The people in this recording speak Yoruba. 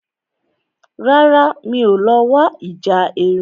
Rárá, mi ò lọ wo ìjà erin